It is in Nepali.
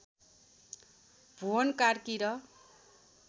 भुवन कार्की र